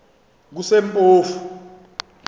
kusempofu